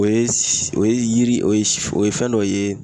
O ye o ye yiri o ye o ye fɛn dɔ ye